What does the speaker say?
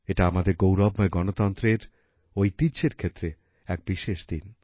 এটা আমাদের গৌরবময় গণতন্ত্রের ঐতিহ্যের ক্ষেত্রে এক বিশেষ দিন